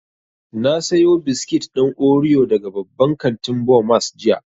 Na sayo biskit ɗin oriyo daga babban kantin Bomas jiya